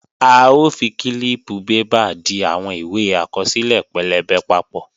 A ó fi kílíìpù bébà di àwọn ìwé àkọsílẹ̀ pẹlẹbẹ papọ̀